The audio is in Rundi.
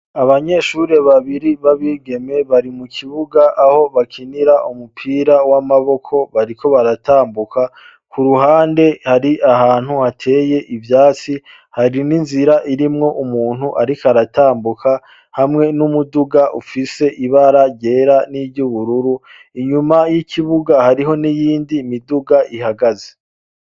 Abanyeshuri babiri babigeme bari mu kibuga aho bakinira umupira w'amaboko bariko baratambuka ku ruhande hari ahantu hateye ivyatsi hari n'inzira irimwo umuntu, ariko aratambuka hamwe n'umuduga ufise ibara ryera n'iryoubururu inyuma a y'ikibuga hariho niyindi miduga ihagaze.